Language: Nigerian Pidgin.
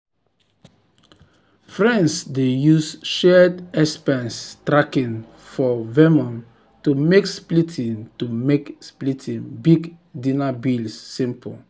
friends dey use shared expense tracking for venmo to make splitting to make splitting big dinner bills simple.